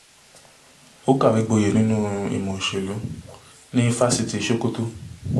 ó kàwé gboyè nínú ìmọ̀ òṣèlú ní fásitì sokoto